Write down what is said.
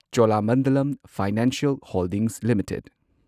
Cholamandalam financial holdings limited